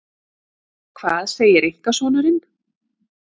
Hvað segir einkasonurinn?